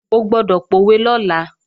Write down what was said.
O gbọ́dọ̀ pòwe lọ́la!